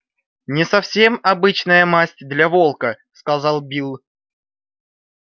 не совсем обычная масть для волка сказал билл